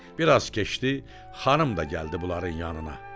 Bir az keçdi, xanım da gəldi bunların yanına.